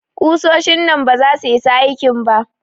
Ƙusoshin nan baza su isa aikin ba.